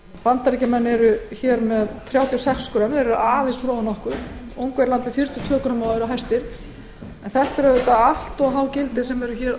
bandaríkjamenn eru með þrjátíu og sex grömm og er því aðeins fyrir ofan okkur ungverjar er með fjörutíu og tvö grömm og eru hæstir neysla transfitusýra